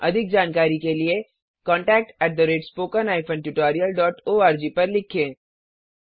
अधिक जानकारी के लिए contactspoken tutorialorg पर लिखें